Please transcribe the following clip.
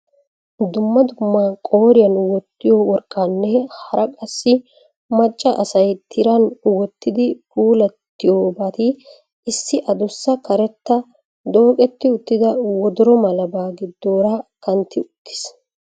Dumma dumma qooriyaan wottiyo worqqaanne hara qassi macca asay tiran wottidi puulattiyobaatti issi addussa karetta dooqqetti uttida wodoro malabaa giidoora kantti uttis.